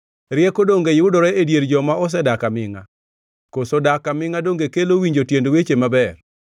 Rieko donge yudore e dier joma osedak amingʼa? Koso dak amingʼa donge kelo winjo tiend weche maber?